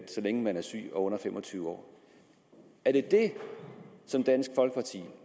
så længe man er syg og under fem og tyve år er det det dansk folkeparti